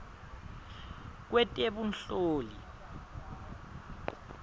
lwetebunhloli